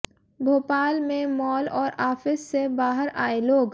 भोपाल में मॉल और आफिस से बाहर आए लोग